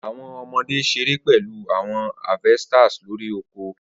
Awọn ọmọde ṣere pẹlu awọn harvesters lori oko